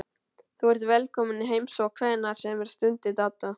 Þú ert velkominn í heimsókn hvenær sem er stundi Dadda.